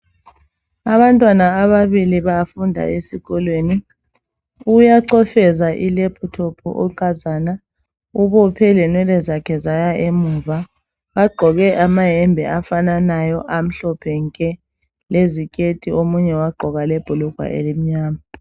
abantwana ababili bafunda esikolweni uyacofeza i laptop unkazana ubophe lenwele zakhe zaya emuva bagqoke amayembe afananayo amhlophe nke leziketi omunye wagqoka lebhulugwa elimnyama